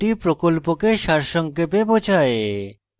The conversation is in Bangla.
এটি প্রকল্পকে সারসংক্ষেপে বোঝায়